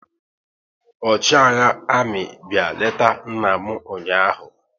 Ọchịagha amị bịa leta nna m ụnyaahụ